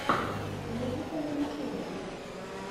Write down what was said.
музыка на ютубе